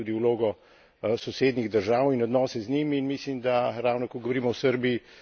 In mislim, da pri tem je zelo pomembno poudariti tudi vlogo sosednjih držav in odnose z njimi.